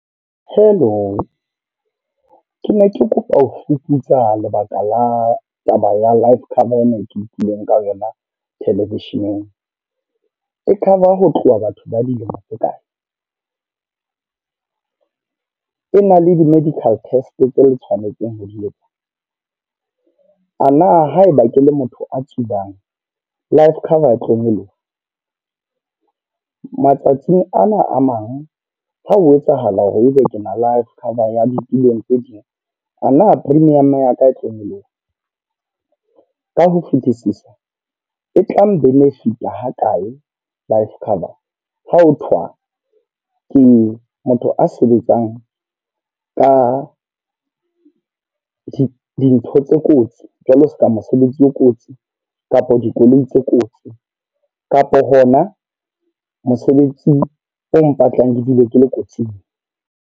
Hello. Ke ne ke kopa ho fuputsa lebaka la taba ya life cover ena ke utlwileng ka wena television-eng. E cover ho tloha batho ba dilemo tse kae? E na le di-medical test tse le tshwanetseng ho di etsa? A na haeba ke le motho a tsubang life cover e tlo nyoloha? Matsatsing ana a mang ha ho etsahala hore ebe ke na life cover ya ditulong tse ding, a na premium ya ka e tlo nyoloha? Ka ho fetisisa e tlang benefit-a ha kae life cover ha ho thwa ke motho a sebetsang ka di dintho tse kotsi, jwalo seka mosebetsi o kotsi kapo dikoloi tse kotsi, kapo hona mosebetsi o mpatlang ke dule ke le kotsing?